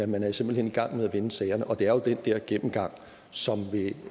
man er simpelt hen i gang med at vende sagerne og det er jo den der gennemgang som